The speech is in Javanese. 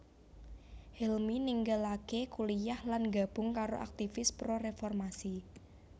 Helmy ninggalaké kuliyah lan nggabung karo aktivis pro reformasi